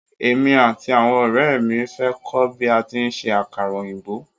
Émi àti àwọn ọ̀rẹ́ ẹ̀ mi fẹ́ kọ́ bí a tí ń ṣe àkàrà òyìnbó.